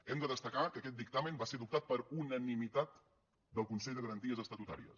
hem de destacar que aquest dictamen va ser adoptat per unanimitat del consell de garanties estatutàries